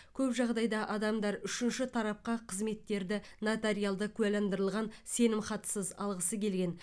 көп жағдайда адамдар үшінші тарапқа қызметтерді нотариалды куәландырылған сенімхатсыз алғысы келген